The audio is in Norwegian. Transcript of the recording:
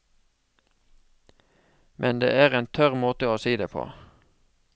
Men det er en tørr måte å si det på.